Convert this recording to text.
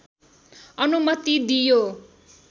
अनुमति दियो